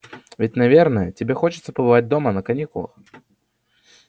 ведь наверное тебе хочется побывать дома на каникулах